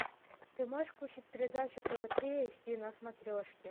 ты можешь включить передачу тв три эйч ди на смотрешке